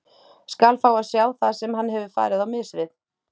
Skal fá að sjá það sem hann hefur farið á mis við.